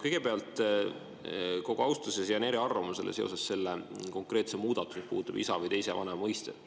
Kõigepealt, hoolimata kogu austusest, jään eriarvamusele selle konkreetse muudatuse kohta, mis puudutab isa või teise vanema mõistet.